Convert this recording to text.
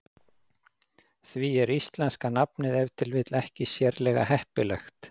Því er íslenska nafnið ef til vill ekki sérlega heppilegt.